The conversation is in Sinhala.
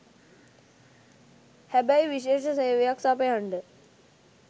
හැබැයි විශේෂ සේවයක් සපයන්ඩ